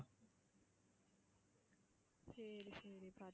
சரி சரிப்பா.